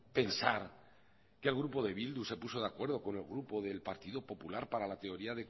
pensar que el grupo de bildu se puso de acuerdo con el grupo del partido popular para la teoría